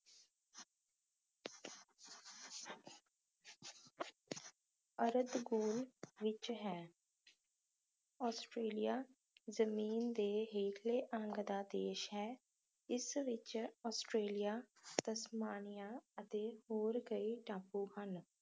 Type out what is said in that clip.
ਅਰਧਗੋਲੇ ਵਿੱਚ ਹੈ ﻿ਆਸਟ੍ਰੇਲੀਆ ਜ਼ਮੀਨ ਦੇ ਹੇਠਲੇ ਅੰਗ ਦਾ ਦੇਸ਼ ਹ ਇਸ ਵਿੱਚ ਆਸਟ੍ਰੇਲੀਆ ਤਸਮਾਨੀਆ ਅਤੇ ਹੋਰ ਕਈ ਟਾਪੂ ਹਨ